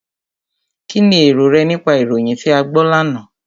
Kínni èrò rẹ nípa ìròyìn tí a gbọ́ lánàá?